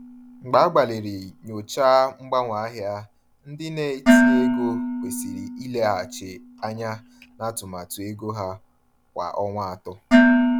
Mgbe agbalịrị nyochaa mgbanwe ahịa, ndị na-etinye ego kwesịrị ileghachi anya na atụmatụ ego ha kwa ọnwa atọ.